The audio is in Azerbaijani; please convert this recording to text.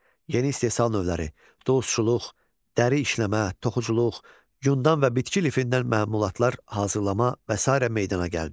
Yeni istehsal növləri, dulusçuluq, dəri işləmə, toxuculuq, yundan və bitki lifindən məmulatlar hazırlama və sairə meydana gəldi.